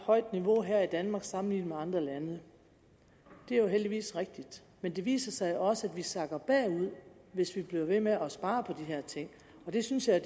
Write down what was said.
højt niveau her i danmark sammenlignet med andre lande det er heldigvis rigtigt men det viser sig jo også at vi sakker bagud hvis vi bliver ved med at spare på de her ting og det synes jeg